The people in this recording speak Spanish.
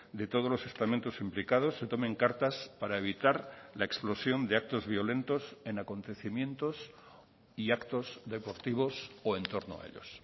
de todos los estamentos implicados se tomen cartas para evitar la explosión de actos violentos en acontecimientos y actos deportivos o en torno a ellos